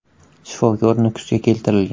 Shifokor Nukusga keltirilgan.